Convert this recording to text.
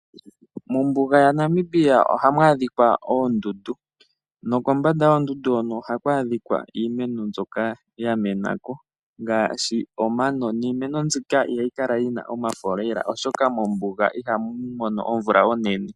Mombuga yaNamibia ohamu adhika oondundu nokombanda yoondundu hono ohaku adhika iimeno mbyoka ya mena ko ngaashi omano niimeno mbika ihayi kala yi na omafo lela, oshoka mombuga ihamu mono omvula onene.